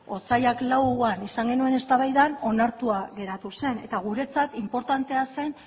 otsailak lauan izan genuen eztabaidan onartua geratu zen eta guretzat inportantea zen